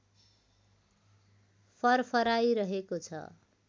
फरफराइ रहेको छ